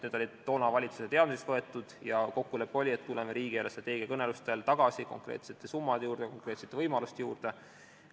Need olid toona valitsusel teadmiseks võetud ja kokkulepe oli, et tuleme riigi eelarvestrateegia kõnelustel tagasi konkreetsete summade ja võimaluste juurde.